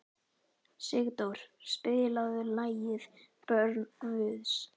Sigdór, spilaðu lagið „Börn Guðs“.